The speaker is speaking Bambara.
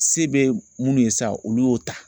Se bɛ minnu ye sa olu y'o ta